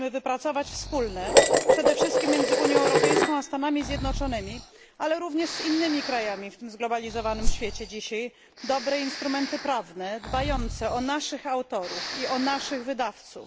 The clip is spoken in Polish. Musimy wypracować wspólne, przede wszystkim między Unią Europejską a Stanami Zjednoczonymi, ale również z innymi krajami w tym zglobalizowanym dziś świecie, dobre instrumenty prawne, dbające o naszych autorów i o naszych wydawców.